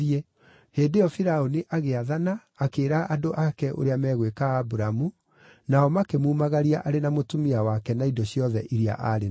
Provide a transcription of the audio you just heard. Hĩndĩ ĩyo Firaũni agĩathana akĩĩra andũ ake ũrĩa megwĩka Aburamu, nao makĩmumagaria arĩ na mũtumia wake na indo ciothe iria aarĩ nacio.